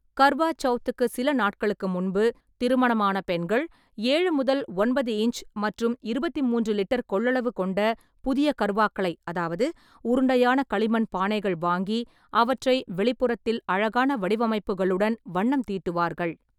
கர்வா சவுத்துக்கு சில நாட்களுக்கு முன்பு, திருமணமான பெண்கள் ஏழு முதல் ஒன்பது இன்ச் மற்றும் இருபத்தி மூன்று லிட்டர் கொள்ளளவு கொண்ட புதிய கர்வாக்களை அதாவது உருண்டையான களிமண் பானைகள் வாங்கி அவற்றை வெளிப்புறத்தில் அழகான வடிவமைப்புகளுடன் வண்ணம் தீட்டுவார்கள்.